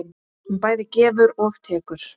Hún bæði gefur og tekur.